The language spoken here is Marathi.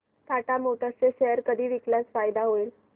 टाटा मोटर्स चे शेअर कधी विकल्यास फायदा होईल